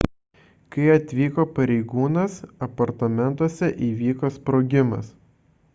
kai atvyko pareigūnas apartamentuose įvyko sprogimas